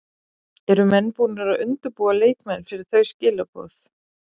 Eru menn búnir að undirbúa leikmenn fyrir þau skilaboð?